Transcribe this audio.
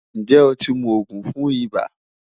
Njẹ o ti mu oogun fun iba?